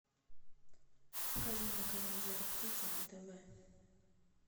покажи мне канал жар птица на тв